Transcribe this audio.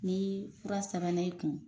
Ni fura sabɛn' e kun